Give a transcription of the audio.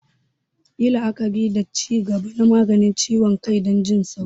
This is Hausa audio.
Yi la'akari da ci gaba na maganin ciwon kai don jin sauƙi.